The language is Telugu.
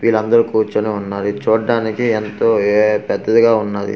విలందరూ కూర్చొని ఉన్నారు ఇది చూడ్డానికి ఎంతో ఎఏ పెద్దదిగా ఉన్నాది.